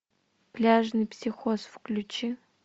пляжный психоз включи